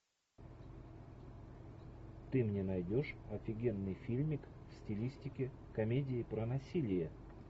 ты мне найдешь офигенный фильмик в стилистике комедии про насилие